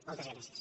moltes gràcies